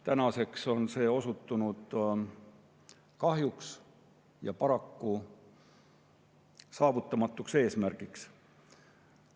Tänaseks on see kahjuks osutunud saavutamatuks eesmärgiks.